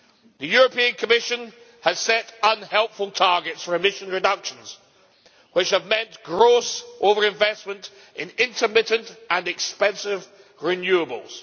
The Commission has set unhelpful targets for emission reductions, which have meant gross over investment in intermittent and expensive renewables.